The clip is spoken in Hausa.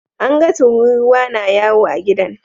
An ga tururuwa na yawo a gidan.